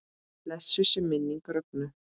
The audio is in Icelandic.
Blessuð sé minning Rögnu.